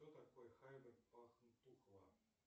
кто такой хайбер пахтунхва